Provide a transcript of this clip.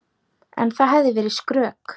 En það hefði verið skrök.